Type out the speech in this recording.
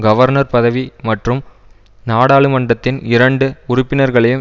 governor பதவி மற்றும் நாடாளுமன்றத்தின் இரண்டு உறுப்பினர்களையும்